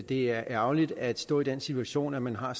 det er ærgerligt at stå i den situation at man har